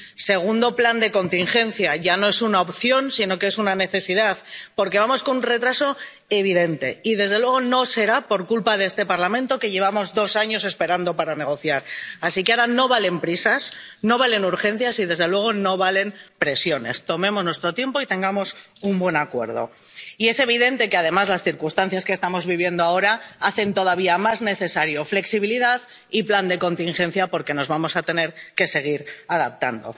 Segundo plan de contingencia. Ya no es una opción, sino que es una necesidad, porque vamos con un retraso evidente y, desde luego, no será por culpa de este Parlamento, que lleva dos años esperando para negociar. Así que, ahora, no valen prisas, no valen urgencias y, desde luego, no valen presiones. Tomémonos nuestro tiempo y tengamos un buen acuerdo. Y es evidente que, además, las circunstancias que estamos viviendo ahora hacen todavía más necesarios la flexibilidad y un plan de contingencia, porque nos vamos a tener que seguir adaptando.